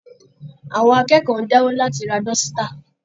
Àwọn akẹ́kọ̀ọ́ ń dáwó láti ra dọ́sítà